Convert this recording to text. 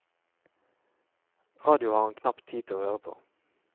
Radio har han knapt tid til å høre på.